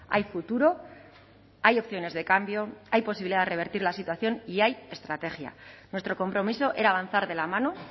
hay futuro hay opciones de cambio hay posibilidad de revertir la situación y hay estrategia nuestro compromiso era avanzar de la mano